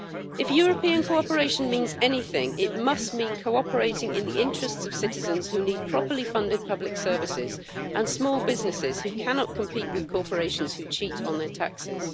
If European cooperation means anything, it must mean cooperating in the interests of citizens who need properly funded public services and small businesses who cannot compete with corporations who cheat on their taxes.